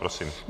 Prosím.